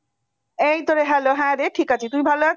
এইতো রে hello হ্যাঁরে ঠিক আছি। তুই ভাল আছিস?